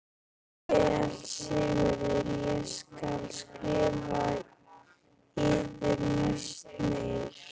Vel Sigurður ég skal skrifa yður næst meir.